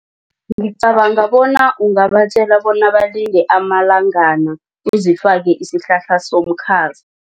Ngicabanga bona ungabatjela bona balinde amalangana uzifake isihlahla somkhaza.